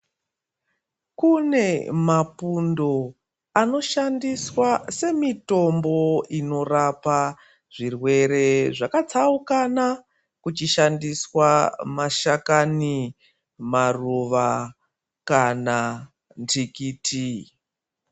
Kune mapundo anoshandiswaa semitombo inorapa zvirwere zvakatsaukana kuchishandisa mashakani maruva kana ndikiti.